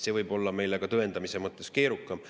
See võib olla meile ka tõendamise mõttes keerukam.